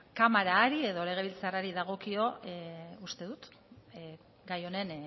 kamara hari edo legebiltzarrari dagokio uste dut gai honen